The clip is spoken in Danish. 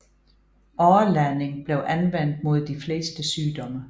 Åreladning blev anvendt mod de fleste sygdomme